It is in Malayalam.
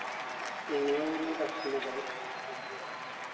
എങ്ങനെയാ പോയിനേ bus നോ അതോ